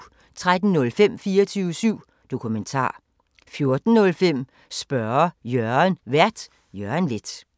13:05: 24syv Dokumentar 14:05: Spørge Jørgen Vært: Jørgen Leth